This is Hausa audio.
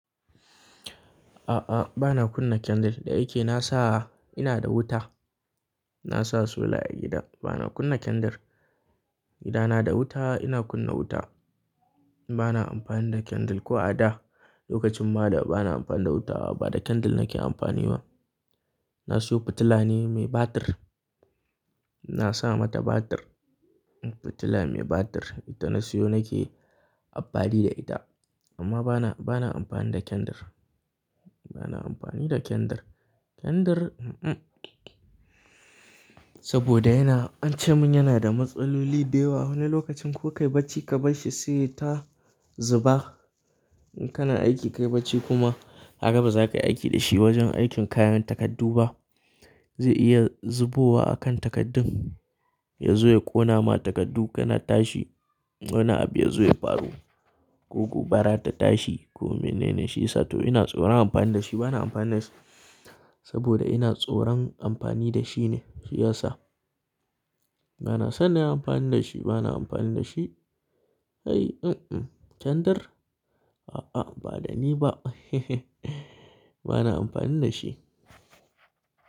A'a, bana kunna candle. Da yake na sa ina da wuta. Na sa solar a gida bana kunna candle. Gida na da wuta ina kunna wuta. Bana amfani da candle ko a da. Lokacin bada bana amfani da wuta ba da candle nake amfani ba. Na siyo fitila ne mai batir. Na sa mata batir. Fitila mai batir ita na siyo nake amfani da ita amma bana, bana amfani da candle. Bana amfani da candle. Candle mm-mm. Saboda yana-- ance mun yana da matsaloli da yawa. Wani lokacin ko kai barci ka bar shi sai yai ta zuba. In kana aiki kai barci kuma haka ba za ka yi aiki da shi wajen aikin kayan takardu ba. Zai iya zubowa a kan takardun. Ya zo ya ƙona ma takardu kana tashi. Wani abu ya zo ya faru. Ko gobara ta tashi. Kome ne ne shi yasa toh ina tsoron amfani da shi. Bana amfani da shi saboda ina tsoron amfani da shi ne shi yasa. Bana son nayi amfani da shi. Bana amfani da shi. Ai mm-mm. Candle? A'a, ba da ni ba bana amfani da shi.